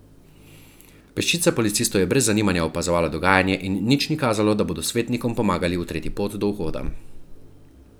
Peščica policistov je brez zanimanja opazovala dogajanje in nič ni kazalo, da bodo svetnikom pomagali utreti pot do vhoda.